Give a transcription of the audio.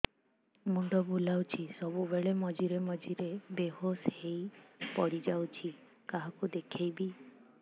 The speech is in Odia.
ମୁଣ୍ଡ ବୁଲାଉଛି ସବୁବେଳେ ମଝିରେ ମଝିରେ ବେହୋସ ହେଇ ପଡିଯାଉଛି କାହାକୁ ଦେଖେଇବି